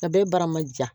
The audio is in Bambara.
A bɛɛ bara man ja